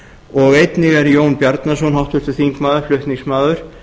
og einnig er jón bjarnason háttvirtur þingmaður flutningsmaður